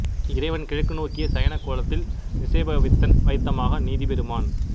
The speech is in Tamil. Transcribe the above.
இறைவன் கிழக்கு நோக்கிய சயனக் கோலத்தில் நிசேபவித்தன் வைத்தமா நிதிப்பெருமான்